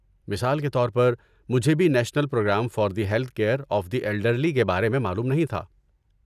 مثال کے طور پر، مجھے بھی national program for the health care of the elderly کے بارے میں معلوم نہیں تھا۔